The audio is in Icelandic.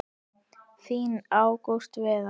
Þinn Ágúst Viðar.